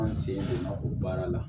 An sen donna o baara la